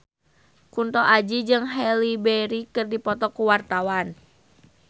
Kunto Aji jeung Halle Berry keur dipoto ku wartawan